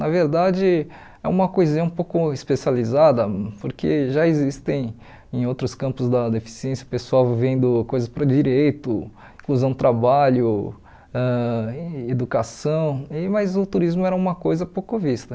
Na verdade, é uma coisinha um pouco especializada, porque já existem em outros campos da deficiência pessoal vendo coisas para direito, inclusão do trabalho, ãh em educação, e mas o turismo era uma coisa pouco vista.